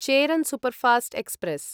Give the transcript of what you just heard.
Cheran superfast express